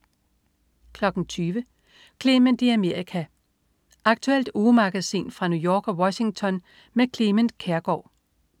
20.00 Clement i Amerika. Aktuelt ugemagasin fra New York og Washington med Clement Kjersgaard